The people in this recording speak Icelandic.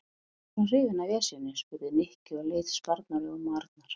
Af hverju ertu svona hrifinn af Esjunni? spurði Nikki og leit spurnaraugum á Arnar.